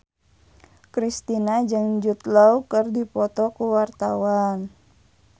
Kristina jeung Jude Law keur dipoto ku wartawan